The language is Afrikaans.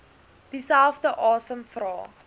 dieselfde asem vra